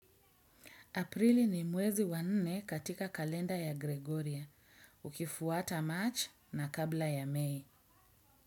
Aprili ni mwezi wa nne katika kalenda ya Gregoria, ukifuata March na kabla ya May.